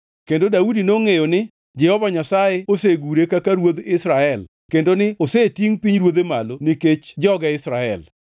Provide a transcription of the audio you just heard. Kendo Daudi nongʼeyo ni Jehova Nyasaye osegure kaka ruodh Israel kendo ni osetingʼ pinyruodhe malo nikech joge Israel.